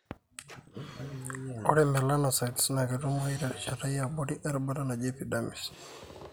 Ore melanocytes na ketumoyu terishata yiabori erubata naaji epidermis.